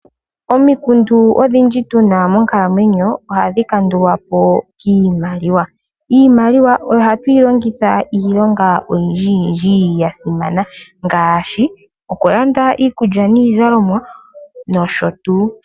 Omikundu odhindji tuna monkalamweyo ohadhi kandulwapo kiimaliwa. Iimaliwa oyo hatu yi longitha iilonga oyindji yindji ya simana ngaashi okulanda iikulya niizalomwa nosho tuu.